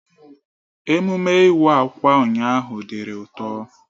Emume Iwa akwa ụnyaahụ diri ụtọ.